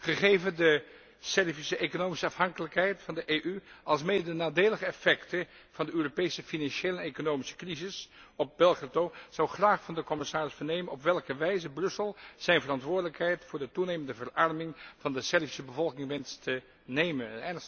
Gegeven de Servische economische afhankelijkheid van de EU, alsmede de nadelige effecten van de Europese financiële en economische crises op Belgrado, zou ik graag van de commissaris vernemen op welke wijze Brussel zijn verantwoordelijkheid voor de toenemende verarming van de Servische bevolking wenst te nemen.